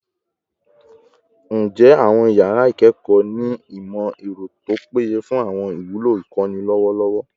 Njẹ awọn yara ikẹkọ ni imọ-ẹrọ to peye fun awọn iwulo ikọni lọwọlọwọ?